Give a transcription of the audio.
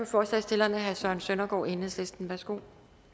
forslagsstillerne herre søren søndergaard enhedslisten værsgo